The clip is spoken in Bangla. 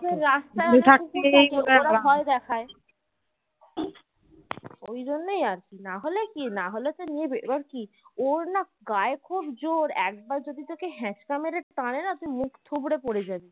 টানেনা তুই মুখ থুবড়ে পরে জাবি